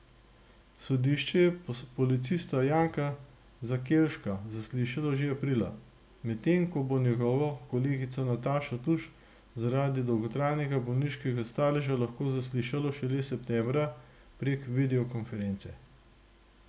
Sodišče je policista Janka Zakelška zaslišalo že aprila, medtem ko bo njegovo kolegico Natašo Tuš zaradi dolgotrajnega bolniškega staleža lahko zaslišalo šele septembra prek videokonference.